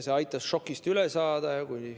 See aitas šokist üle saada.